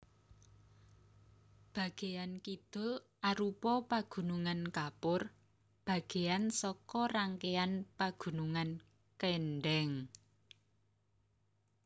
Bagéyan kidul arupa pagunungan kapur bagéyan saka rangkéan Pagunungan Kendheng